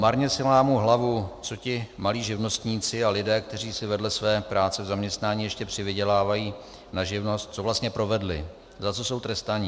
Marně si lámu hlavu, co ti malí živnostníci a lidé, kteří si vedle své práce v zaměstnání ještě přivydělávají na živnost, co vlastně provedli, za co jsou trestaní.